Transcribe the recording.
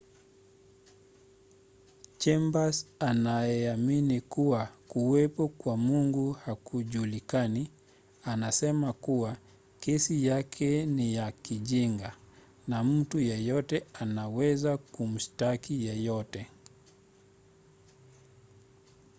chambers anayeamini kuwa kuwepo kwa mungu hakujulikani anasema kuwa kesi yake ni ya kijinga” na mtu yeyote anaweza kumshtaki yeyote.